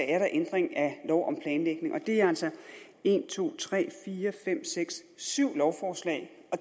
er der ændring af lov om planlægning og det er altså en to tre fire fem seks syv lovforslag